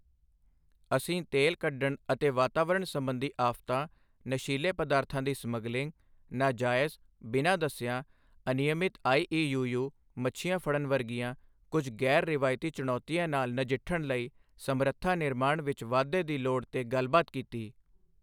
ਅਸੀਂ ਤੇਲ ਕੱਢਣ ਅਤੇ ਵਾਤਾਵਰਨ ਸੰਬੰਧੀ ਆਫਤਾਂ, ਨਸ਼ੀਲੇ ਪਦਾਰਥਾਂ ਦੀ ਸਮਗਲਿੰਗ, ਨਾਜਾਇਜ਼, ਬਿਨਾਂ ਦਸਿਆਂ, ਅਨਿਯਮਤ ਆਈਈਯੂਯੂ ਮੱਛੀਆਂ ਫੜਨ ਵਰਗੀਆਂ ਕੁਝ ਗੈਰ ਰਵਾਇਤੀ ਚੁਣੌਤੀਆਂ ਨਾਲ ਨਜਿੱਠਣ ਲਈ ਸਮਰੱਥਾ ਨਿਰਮਾਣ ਵਿਚ ਵਾਧੇ ਦੀ ਲੋੜ ਤੇ ਗੱਲਬਾਤ ਕੀਤੀ।